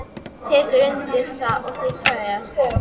Hún tekur undir það og þau kveðjast.